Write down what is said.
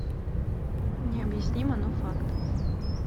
необъяснимо но факт